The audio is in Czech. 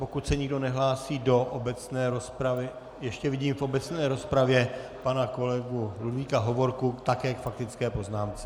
Pokud se nikdo nehlásí do obecné rozpravy - ještě vidím v obecné rozpravě pana kolegu Ludvíka Hovorku také k faktické poznámce.